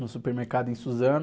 No supermercado em Suzano.